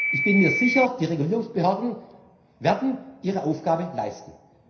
zu. Ich bin mir sicher, die Regulierungsbehörden werden ihre Aufgabe leisten.